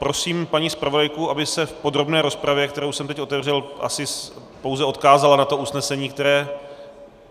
Prosím paní zpravodajku, aby se v podrobné rozpravě, kterou jsem teď otevřel, asi pouze odkázala na to usnesení, které...